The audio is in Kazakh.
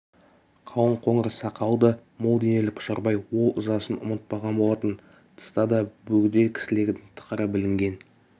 қалың қоңыр сақалды мол денелі пұшарбай ол ызасын ұмытпаған болатын тыста да бөгде кісілердің тықыры білінген